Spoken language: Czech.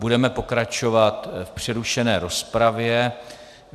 Budeme pokračovat v přerušené rozpravě.